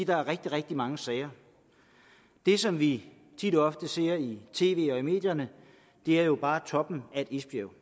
der er rigtig rigtig mange sager det som vi tit og ofte ser i tv og i medierne er jo bare toppen af et isbjerg